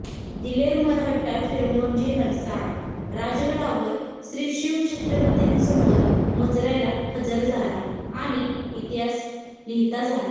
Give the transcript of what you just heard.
दिलेर मरहट्टा फिरंगोजी नरसाळा राजगडावर श्रीशिवछत्रपतींसमोर मुजऱयाला हजर झाला आणि इतिहास लिहिता झाला